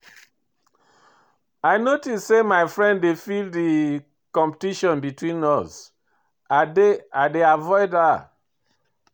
I notice say my friend dey feel di competition between us, I dey avoid her.